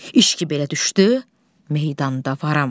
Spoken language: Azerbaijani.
İş ki belə düşdü, meydanda varam.